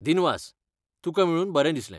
दिनवास, तुका मेळून बरें दिसलें.